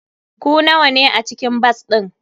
Ku nawa ne a cikin bas din?